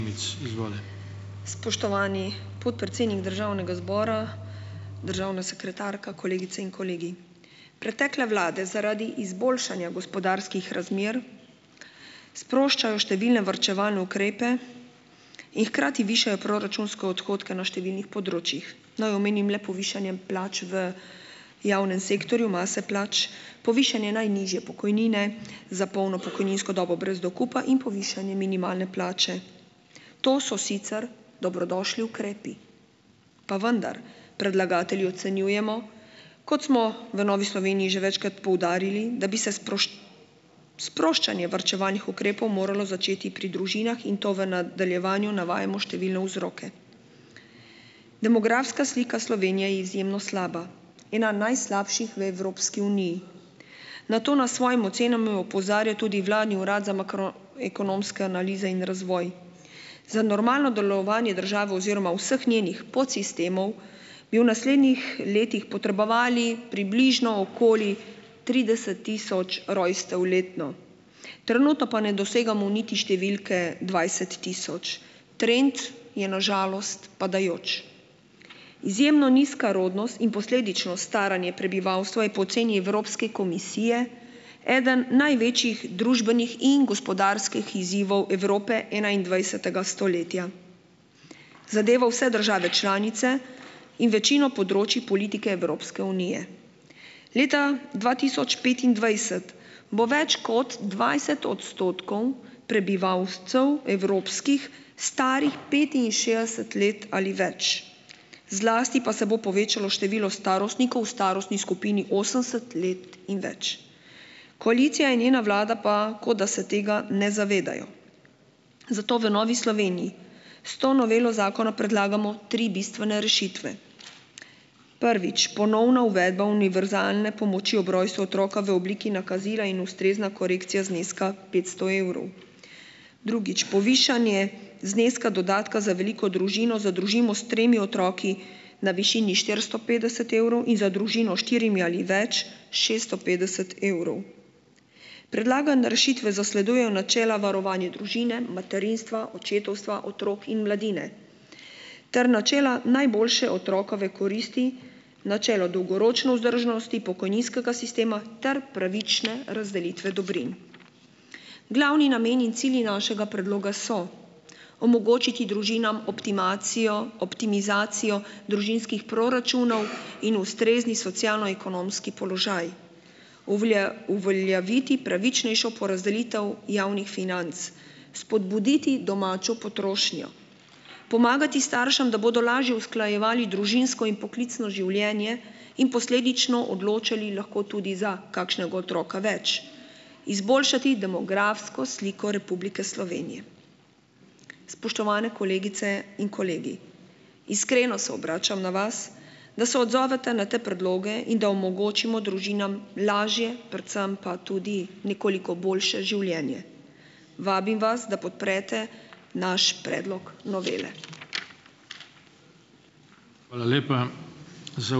Spoštovani, podpredsednik državnega zbora, državna sekretarka, kolegice in kolegi! Pretekle vlade zaradi izboljšanja gospodarskih razmer sproščajo številne varčevalne ukrepe in hkrati višajo proračunske odhodke na številnih področjih. Naj omenim le povišanje plač v javnem sektorju, mase plač, povišanje najnižje pokojnine za polno pokojninsko dobo brez dokupa in povišanje minimalne plače, to so sicer dobrodošli ukrepi, pa vendar predlagatelji ocenjujemo, kot smo v Novi Sloveniji že večkrat poudarili, da bi se sproščanje varčevalnih ukrepov moralo začeti pri družinah in to v nadaljevanju navajamo številne vzroke. Demografska slika Slovenije je izjemno slaba. Ena najslabših v Evropski uniji. Na to nas s svojimi ocenami opozarja tudi vladni urad za makro- ekonomske analize in razvoj. Za normalno delovanje države oziroma vseh njenih podsistemov bi v naslednjih letih potrebovali približno okoli trideset tisoč rojstev letno, trenutno pa ne dosegamo niti številke dvajset tisoč, trend je na žalost padajoč. Izjemno nizka rodnost in posledično staranje prebivalstva je po oceni Evropske komisije eden največjih družbenih in gospodarskih izzivov Evrope enaindvajsetega stoletja, zadeva vse države članice in večino področij politike Evropske unije. Leta dva tisoč petindvajset bo več kot dvajset odstotkov prebivalcev evropskih starih petinšestdeset let ali več, zlasti pa se bo povečalo število starostnikov v starostni skupini osemdeset let in več. Koalicija in njena vlada pa, kot da se tega ne zavedajo. Zato v Novi Sloveniji s to novelo zakona predlagamo tri bistvene rešitve. Prvič, ponovna uvedba univerzalne pomoči ob rojstvu otroka v obliki nakazila in ustrezna korekcija zneska petsto evrov. Drugič, povišanje zneska dodatka za veliko družino, za družimo s tremi otroki na višini štiristo petdeset evrov in za družino s štirimi ali več šeststo petdeset evrov. Predlagane rešitve zasledujejo načela varovanja družine, materinstva, očetovstva, otrok in mladine ter načela najboljše otrokove koristi, načelo dolgoročne vzdržnosti pokojninskega sistema ter pravične razdelitve dobrin. Glavni nameni in cilji našega predloga so omogočiti družinam optimacijo, optimizacijo družinskih proračunov in ustrezni socialno-ekonomski položaj, uveljaviti pravičnejšo porazdelitev javnih financ. Spodbuditi domačo potrošnjo, pomagati staršem, da bodo lažje usklajevali družinsko in poklicno življenje in posledično odločali lahko tudi za kakšnega otroka več. Izboljšati demografsko sliko Republike Slovenije. Spoštovane kolegice in kolegi, iskreno se obračam na vas, da se odzovete na te predloge in da omogočimo družinam lažje, predvsem pa tudi nekoliko boljše življenje, vabim vas, da podprete naš predlog novele.